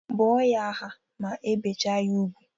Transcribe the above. Bụọ ya aha ma ebecha ya ugwu!